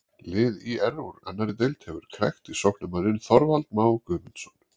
Lið ÍR úr annarri deild hefur krækt í sóknarmanninn Þorvald Má Guðmundsson.